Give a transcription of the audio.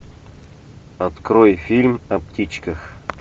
открой фильм о птичках